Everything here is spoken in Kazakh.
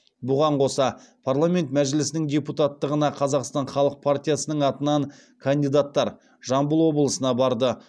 бұған қоса парламент мәжілісінің депутаттығына қазақстан халық партиясының атынан кандидаттар жамбыл облысына барды